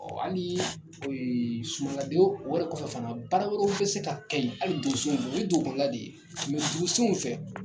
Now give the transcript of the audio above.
hali sumaladon o yɛrɛ fana kɔfɛ bara wɛrɛw bɛ se ka kɛ yen hali donsow bolo o ye dugukɔnɔ de ye dugusenw fɛ.